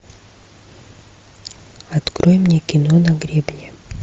открой мне кино на гребне